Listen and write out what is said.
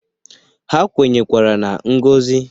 Ha kwenyekwara na ngozi